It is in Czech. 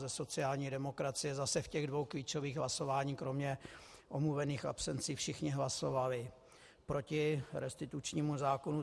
Ze sociální demokracie zase v těch dvou klíčových hlasováních kromě omluvených absencí všichni hlasovali proti restitučnímu zákonu.